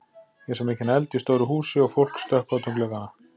Ég sá mikinn eld í stóru húsi og fólk stökkva út um gluggana.